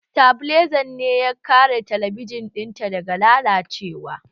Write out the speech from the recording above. Sitabilizan ne ya kare talabijin ɗinta daga lalacewa